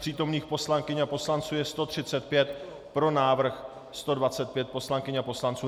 Přítomných poslanců a poslankyň je 135, pro návrh 125 poslankyň a poslanců.